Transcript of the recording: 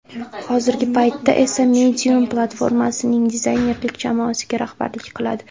Hozirgi paytda esa Medium platformasining dizaynerlik jamoasiga rahbarlik qiladi.